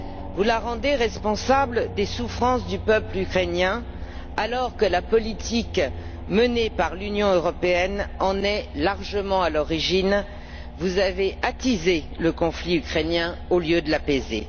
Vous la rendez responsable des souffrances du peuple ukrainien alors que la politique menée par l'Union européenne en est largement à l'origine vous avez attisé le conflit ukrainien au lieu de l'apaiser.